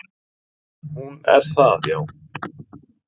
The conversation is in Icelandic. """Hún er það, já."""